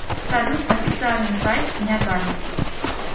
салют официальный сайт нягань